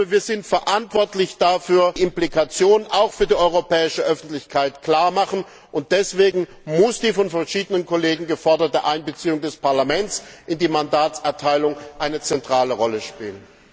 Wir sind dafür verantwortlich, die Implikationen auch für die europäische Öffentlichkeit klar zu machen, und deswegen muss die von verschiedenen Kollegen geforderte Einbeziehung des Parlaments in die Mandatserteilung eine zentrale Rolle spielen!